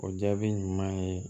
O jaabi ɲuman ye